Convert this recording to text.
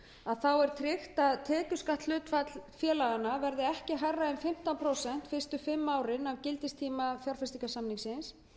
hlutinn er tryggt að tekjuskattshlutfall félaganna verði ekki hærra en fimmtán prósent fyrstu fimm árin af gildistíma fjárfestingarsamningsins